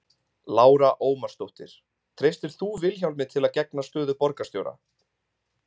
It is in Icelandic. Lára Ómarsdóttir: Treystir þú Vilhjálmi til að gegna stöðu borgarstjóra?